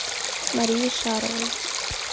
марии шаровой